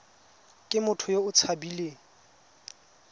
ke motho yo o tshabileng